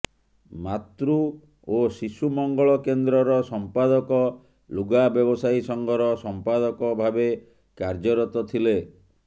ମାତୃ ଓ ଶିଶୁ ମଂଗଳ କେନ୍ଦ୍ରର ସମ୍ପାଦକ ଲୁଗା ବ୍ୟବସାୟୀ ସଂଘର ସମ୍ପାଦକ ଭାବେ କାର୍ଯ୍ୟରତ ଥିଲେ